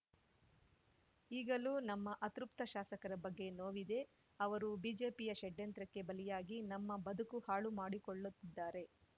ಈಗಲೂ ನಮ್ಮ ಅತೃಪ್ತ ಶಾಸಕರ ಬಗ್ಗೆ ನೋವಿದೆ ಅವರು ಬಿಜೆಪಿಯ ಷಡ್ಯಂತ್ರಕ್ಕೆ ಬಲಿಯಾಗಿ ನಮ್ಮ ಬದುಕು ಹಾಳು ಮಾಡಿಕೊಳ್ಳುತ್ತಿದ್ದಾರೆ